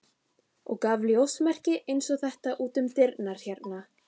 og gaf ljósmerki eins og þetta út um dyrnar hérna.